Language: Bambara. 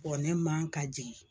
ne man ka jigin.